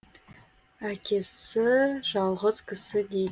әкесі жалғыз кісі дейд